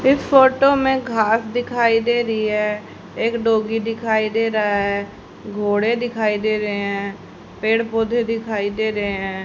इस फोटो में घास दिखाई दे रही है एक डॉगी दिखाई दे रहा है घोड़े दिखाई दे रहे हैं पेड़ पौधे दिखाई दे रहे हैं।